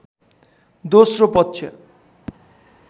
दोस्रो पक्ष